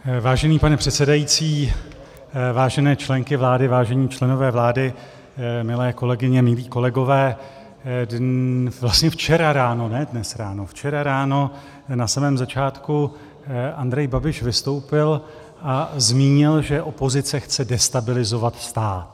Vážený pane předsedající, vážené členky vlády, vážení členové vlády, milé kolegyně, milí kolegové, vlastně včera ráno, ne dnes ráno, včera ráno na samém začátku Andrej Babiš vystoupil a zmínil, že opozice chce destabilizovat stát.